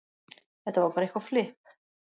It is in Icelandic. Þetta var bara eitthvað flipp.